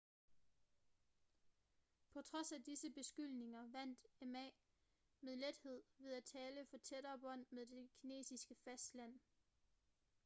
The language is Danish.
på trods af disse beskyldninger vandt ma med lethed ved at tale for tættere bånd med det kinesiske fastland